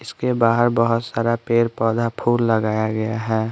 इसके बाहर बहुत सारा पेड़ पौधा फूल लगाया गया है।